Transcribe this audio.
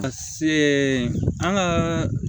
A se an kaaa